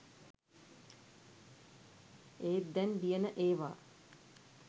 ඒත් දැන් ලියන ඒවා